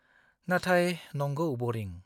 नाथाय नंगौ बरिं।